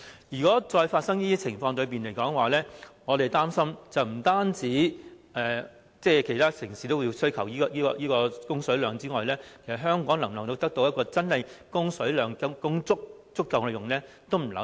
如果再發生這種情況，我們擔心不單其他城市也需求一定的供水量外，其實香港是否真的能夠得到足夠的供水量呢？